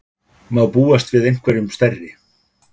Má búast við einhverjum stærri?